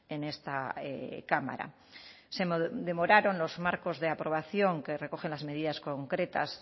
en esta cámara se demoraron los marcos de aprobación que recogen las medidas concretas